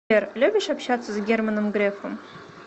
сбер любишь общаться с германом грефом